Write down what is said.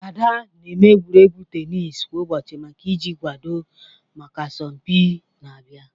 Ada na-eme egwuregwu tenis kwa ụbọchị maka iji kwado maka asọmpi na-abịa.